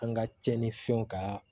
An ka cɛnni fɛnw ka